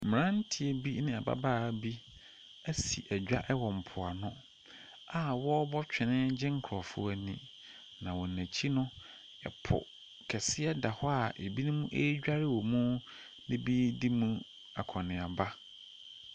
Mmeranteɛ bi ne ababaa bi asi dwa wɔ mpoano a wɔrebɔ twene gye nkurɔfoɔ ani, na wɔn akyi no, po kɛseɛ da hɔ a ebinom redware wom, na ebi redi mu akɔnneaba.